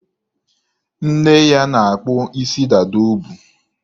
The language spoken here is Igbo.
Nne ya na-akpụ isi dada o bu.